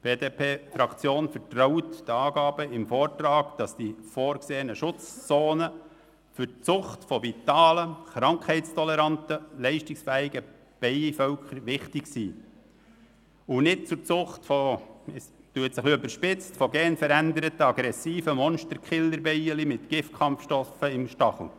Die BDP-Fraktion vertraut den Angaben im Vortrag, wonach die vorgesehenen Schutzzonen für die Zucht von vitalen, krankheitstolerante und leistungsfähigen Bienenvölkern wichtig sind und nicht zur Zucht – es klingt ein bisschen überspitzt – von genveränderten, aggressiven Monsterkillerbienen mit Kampfgiftstachel.